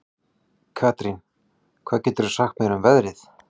Karín, hvað geturðu sagt mér um veðrið?